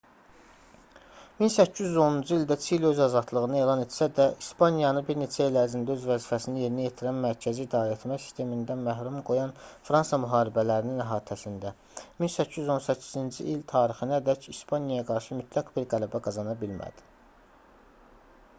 1810-cu ildə çili öz azadlığını elan etsə də i̇spaniyanı bir neçə il ərzində öz vəzifəsini yerinə yetirən mərkəzi idarəetmə sistemindən məhrum qoyan fransa müharibələrinin əhatəsində 1818-ci il tarixinədək i̇spaniyaya qarşı mütləq bir qələbə qazana bilmədi